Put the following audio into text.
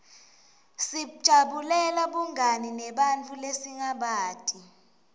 sijabulela bungani nebantfu lesingabati